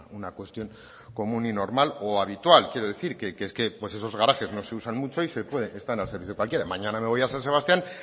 una cuestión común y normal o habitual quiero decir pues esos garajes no se usan mucho y están al servicio de cualquiera mañana me voy a san sebastián